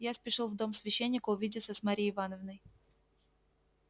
я спешил в дом священника увидеться с марьей ивановной